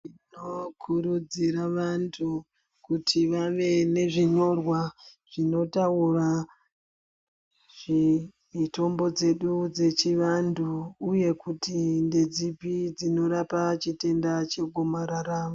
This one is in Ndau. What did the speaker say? Tinokurudzira vantu kuti vave nezvinyorwa zvinotaura mitombo dzedu dzechivantu uye kuti ndedzipi dzinorapa chitenda chegomarara.